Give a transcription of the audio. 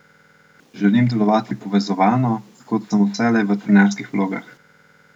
Želim delovati povezovalno, kot sem vselej v trenerskih vlogah.